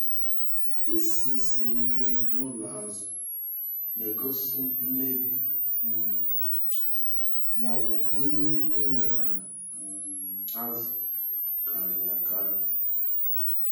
Isi siri ike n’ụlọ azụ na-egosi mmebi um ma ọ bụ nri e nyere um azụ karịrị akarị.